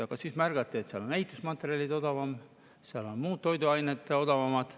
Aga siis märgati, et seal on ehitusmaterjalid odavamad ja seal on ka toiduained odavamad.